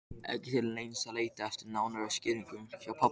Ekki til neins að leita eftir nánari skýringu hjá pabba.